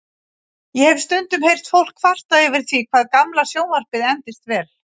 Ég hef stundum heyrt fólk kvarta yfir því hvað gamla sjónvarpið endist vel.